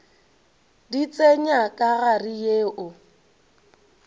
di tsenya ka gare yeo